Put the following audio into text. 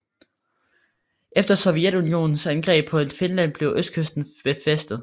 Efter Sovjetunionens angreb på Finland blev østkysten befæstet